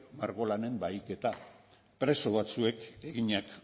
bahiketa preso batzuek eginak